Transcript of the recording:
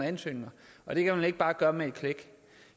ansøgninger og det kan man ikke bare gøre med et klik